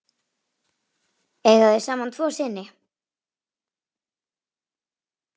Eiga þau saman tvo syni.